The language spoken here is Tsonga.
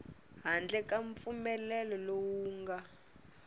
handle ka mpfumelelo lowu nga